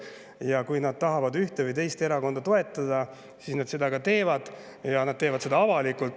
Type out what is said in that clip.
Ja kui nad tahavad ühte või teist erakonda toetada, siis nad seda ka teevad, ja teevad seda avalikult.